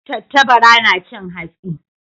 Tattabara na cin hatsi.